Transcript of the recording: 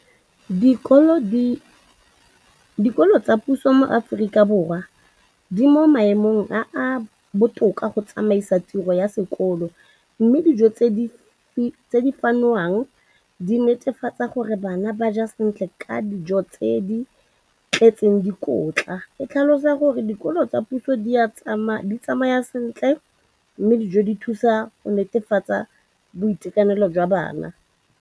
dikolo tsa puso mo Aforika Borwa ba mo maemong a a botoka a go ka samagana le ditiro tsa bona tsa sekolo, mme ditebogo di lebisiwa kwa lenaaneng la puso le le netefatsang gore mala a bona a kgorisitswe ka dijo tse di tletseng dikotla.